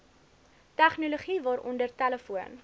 tegnologie waaronder telefoon